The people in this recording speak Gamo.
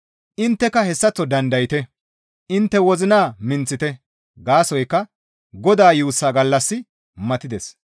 Intteka hessaththo dandayte; intte wozina minththite; gaasoykka Godaa yuussa gallassi matides.